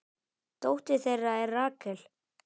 Dóttir þeirra er Rakel.